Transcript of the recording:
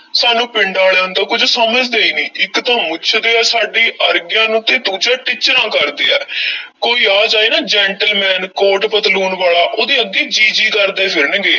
ਸਾਨੂੰ ਪਿੰਡ ਆਲਿਆਂ ਨੂੰ ਤਾਂ ਕੁਝ ਸਮਝਦੇ ਈ ਨਹੀਂ, ਇੱਕ ਤਾਂ ਮੁੱਛਦੇ ਐ ਸਾਡੀ ਅਰਗਿਆਂ ਨੂੰ ਤੇ ਦੂਜਾ ਟਿੱਚਰਾਂ ਕਰਦੇ ਹੈ ਕੋਈ ਆ ਜਾਏ ਨਾ gentleman ਕੋਟ ਪਤਲੂਨ ਵਾਲਾ ਉਹਦੇ ਅੱਗੇ ਜੀ-ਜੀ ਕਰਦੇ ਫਿਰਨਗੇ।